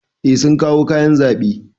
Eh sun kawo kayan zaɓe.